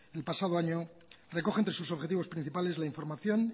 el pasado año recoge entre sus objetivos principales la información